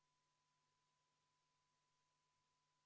Tulemusega poolt 12, vastu 48, 1 erapooletu, ei leidnud ettepanek toetust.